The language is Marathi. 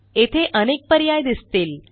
येथे अनेक पर्याय दिसतील